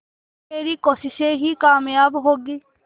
तेरी कोशिशें ही कामयाब होंगी